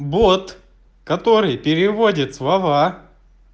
бот который переводит слова